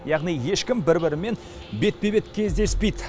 яғни ешкім бір бірімен бетпе бет кездеспейді